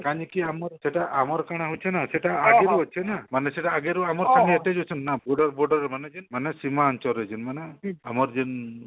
କାଲିକି ଆମର ସେଟା ଆମର କାଣା ହଉଛିନା ସେଟା ଆଗରୁ ଅଛିନା ମାନେ ସେଟା ଆଗରୁ ଆମର ସାଙ୍ଗେ attached ଅଛନ୍ତି ନା ପୁରା ଗୁଟେ ମନୋଉଛନ ମାନେ ସିମାଞ୍ଚଳ ରେ ଯେଉଁମାନେ ଆମର ଯେନ